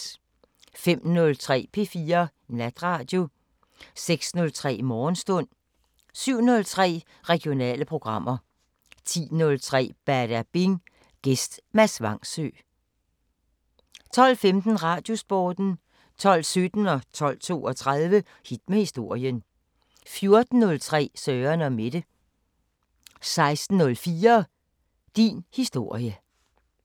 05:03: P4 Natradio 06:03: Morgenstund 07:03: Regionale programmer 10:03: Badabing: Gæst Mads Vangsø 12:15: Radiosporten 12:17: Hit med historien 12:32: Hit med historien 14:03: Søren & Mette 16:04: Din historie